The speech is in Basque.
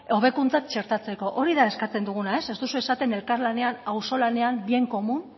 hobekuntzak txertatzeko hori da eskatzen duguna ez duzue esaten elkarlanean auzolanean bien común